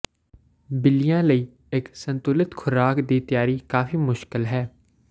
ਬਿੱਲੀਆਂ ਲਈ ਇੱਕ ਸੰਤੁਲਿਤ ਖ਼ੁਰਾਕ ਦੀ ਤਿਆਰੀ ਕਾਫ਼ੀ ਮੁਸ਼ਕਲ ਹੈ